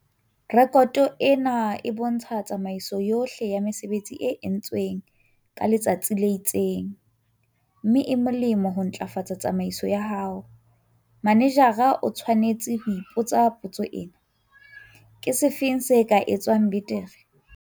Rekoto ena e bontsha tsamaiso yohle ya mesebetsi e entsweng ka letsatsi le itseng, mme e molemo ho ntlafatsa tsamaiso ya hao. Manejara o tshwanetse ho ipotsa potso ena- "Ke sefe se ka etswang betere?"